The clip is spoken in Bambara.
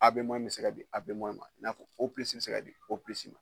Abe mɔyi be se ka di abe mɔyi ma i n'a fɔ o pilisi bi se ka di o pilisi ma